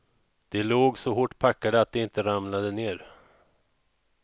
De låg så hårt packade att de inte ramlade ner.